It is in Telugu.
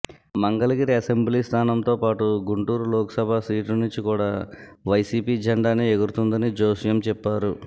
మంగళగిరి అసెంబ్లీ స్థానంతో పాటు గుంటూరు లోక్ సభ సీటు నుంచి కూడా వైసీపీ జెండానే ఎగురుతుందని జోస్యం చెప్పారు